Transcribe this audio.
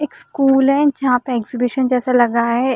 एक स्कूल है जहाँ पर एक्सिबिशन जैसा लग रहा है।